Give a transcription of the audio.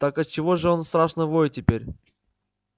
так отчего же он страшно воет теперь